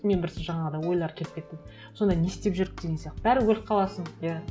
мен просто жаңағыдай ойлар келіп кетті сонда не істеп жүрміз деген сияқты бәрібір өліп қаласың иә